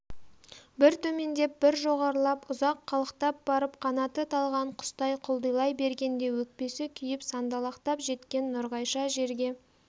бір төмендеп бір жоғарылап ұзақ қалықтап барып қанаты талған құстай құлдилай бергенде өкпесі күйіп сандалақтап жеткен нұрғайша жерге